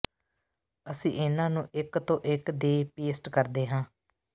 ਅਸੀਂ ਇਹਨਾਂ ਨੂੰ ਇਕ ਤੋਂ ਇਕ ਦੇ ਪੇਸਟ ਕਰਦੇ ਹਾਂ